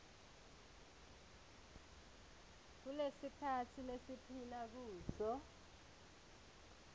kulesikhatsi lesiphila kuso